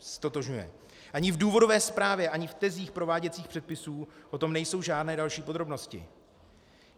Ani v důvodové zprávě ani v tezích prováděcích předpisů o tom nejsou žádné další podrobnosti.